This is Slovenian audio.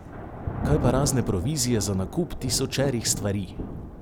Kaj pa razne provizije za nakup tisočerih stvari?